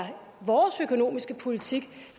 er vores økonomiske politik